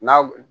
N'a w